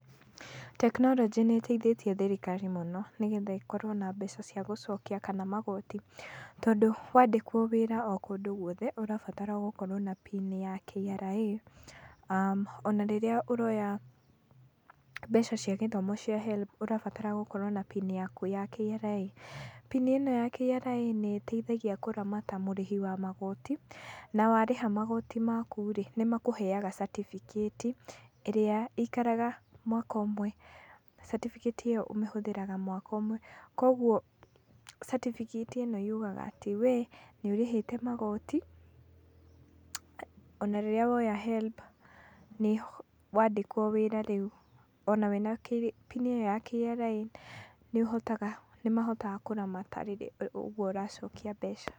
Tekinoronjĩ nĩ ĩteithĩtie thirikari mũno, nĩgetha ĩkorwo na mbeca cia gũcokia kana magoti. Tondũ wandĩkwo wĩra o kũndũ guothe ũrabatara gũkorwo na pini ya KRA ona rĩrĩa ũroya mbeca cia gĩthomo cia HELB ũrabatara gũkorwo na pini yaku ya KRA. Pini ĩno ya KRA nĩ ĩteithagia kũramata mũrĩhi wa magoti na warĩha magoti maku-rĩ nĩ makũheaga certificate ĩrĩa ĩikaraga mwaka ũmwe. Certificate ĩyo ũmĩhũthĩraga mwaka ũmwe. Koguo certificate ĩno yugaga atĩ wee nĩ ũrĩhĩte magoti, ona rĩrĩa woya HELB wandĩkwo wĩra rĩu, ona wĩna pini ĩyo ya KRA nĩ mahotaga kũramata ũguo ũracokia mbeca.